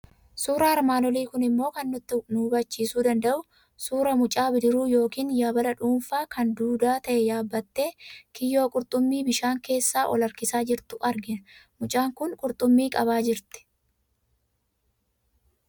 Suuraan armaan olii kun immoo kan inni nu hubachiiisuu danda'u suuraa mucaa bidiruu yookiin yabala dhuunfaa, kan duudaa ta'e yaabbattee kiyyoo qurxummii bishaan keessaa ol harkisaa jirtu argina. Mucaan kun qurxummii qabaa jirti.